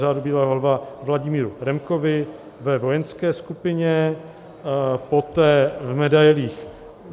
Řádu bílého lva Vladimíru Remkovi ve vojenské skupině, poté v medailích